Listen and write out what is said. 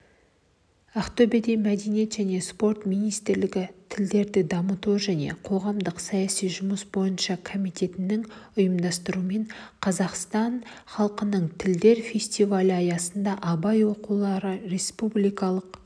ақтөбеде мәдениет және спорт министрлігі тілдерді дамыту және қоғамдық-саяси жұмыс бойынша комитетінің ұйымдастыруымен қазақстан халқының тілдері фестивалі аясында абай оқулары республикалық